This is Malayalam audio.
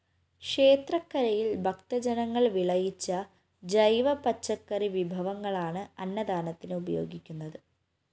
ക്ഷേത്രക്കരയില്‍ ഭക്തജനങ്ങള്‍ വിളയിച്ച ജൈവപച്ചക്കറി വിഭവങ്ങളാണ് അന്നദാനത്തിന് ഉപയോഗിക്കുന്നത്